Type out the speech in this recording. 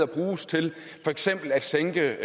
bruges til for eksempel at sænke